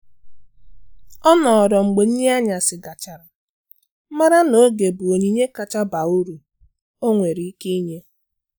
Ọ nọrọ mgbe nri anyasi gachara, mara na oge bụ onyinye kacha baa uru o nwere ike inye.